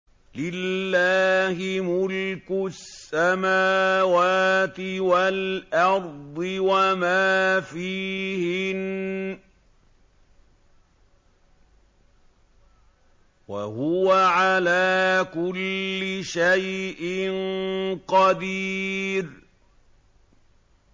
لِلَّهِ مُلْكُ السَّمَاوَاتِ وَالْأَرْضِ وَمَا فِيهِنَّ ۚ وَهُوَ عَلَىٰ كُلِّ شَيْءٍ قَدِيرٌ